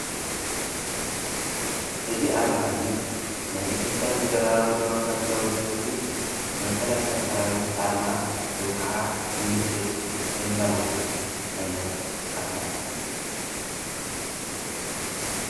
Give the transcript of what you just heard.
እዝ ኣርማ እዙይ ናይ ኢቲጴያ ፌደራሎ ዴሞክራስያዊ ሬጰብልኽ መካላኪያ ሰራዊት ኣርማ ወይ ኸዓ ምልክት ዘመላኽት ኣይነት ኣርማ እዩ።